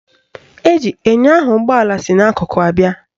Eji enyo ahụ ụgbọala si n'akụkụ abịa